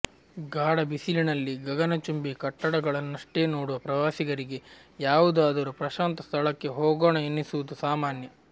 ಗಾಢ ಬಿಸಿಲಿನಲ್ಲಿ ಗಗನಚುಂಬಿ ಕಟ್ಟಡಗಳಷ್ಟನ್ನೇ ನೋಡುವ ಪ್ರವಾಸಿಗರಿಗೆ ಯಾವುದಾದರೂ ಪ್ರಶಾಂತ ಸ್ಥಳಕ್ಕೆ ಹೋಗೋಣ ಎನ್ನಿಸುವುದು ಸಾಮಾನ್ಯ